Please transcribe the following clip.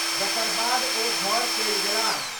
जकर बाद ओ घर चलि गेलाह।